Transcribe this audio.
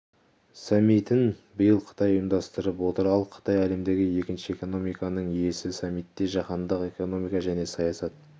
саммитін биыл қытай ұйымдастырып отыр ал қытай әлемдегі екінші экономиканың иесі саммитте жаһандық экономика және саясат